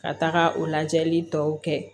Ka taga o lajɛli tɔw kɛ